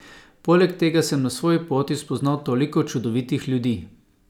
Poleg tega sem na svoji poti spoznal toliko čudovitih ljudi!